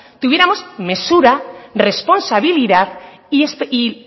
tuviéramos mesura responsabilidad y